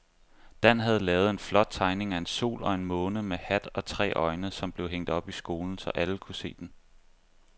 Dan havde lavet en flot tegning af en sol og en måne med hat og tre øjne, som blev hængt op i skolen, så alle kunne se den.